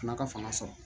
N'a ka fanga sɔrɔ